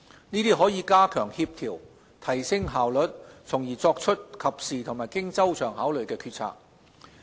這樣可加強協調、提升效率，從而作出及時和經周詳考慮的決策。